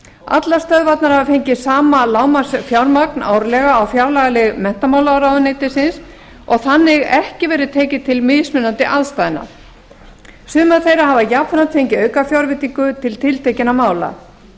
allar stöðvarnar hafa fengið sama lágmarksfjármagn árlega á fjárlagalið menntamálaráðuneytisins og þannig ekki verið tekið tillit til mismunandi aðstæðna sumar þeirra hafa jafnframt fengið aukafjárveitingu til tiltekinna mála